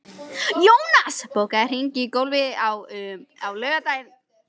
Jónas, bókaðu hring í golf á laugardaginn.